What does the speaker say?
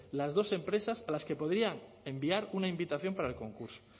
las dos empresas a las que podrían enviar una invitación para el concurso